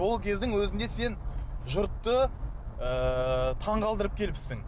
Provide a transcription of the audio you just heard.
сол кездің өзінде сен жұртты ыыы таңғалдырып келіпсің